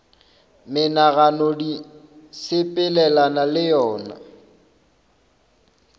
menagano di sepelelana le yona